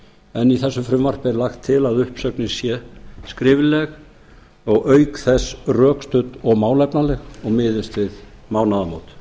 en í þessu frumvarpi er lagt til að uppsögnin sé skrifleg og auk þess rökstudd og málefnaleg og miðist við mánaðamót hér